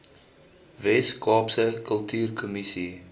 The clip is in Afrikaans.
wes kaapse kultuurkommissie